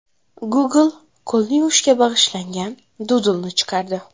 Google qo‘lni yuvishga bag‘ishlangan dudlni chiqardi.